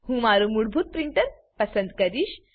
હું મારું મૂળભૂત પ્રિન્ટર પસંદ કરીશ